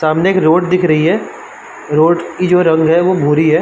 सामने एक रोड दिख रही है। रोड की जो रंग है वो भूरी है।